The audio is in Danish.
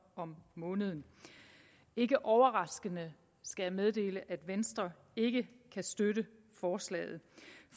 om måneden ikke overraskende skal jeg meddele at venstre ikke kan støtte forslaget